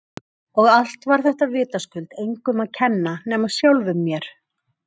Og allt var þetta vitaskuld engum að kenna nema sjálfum mér!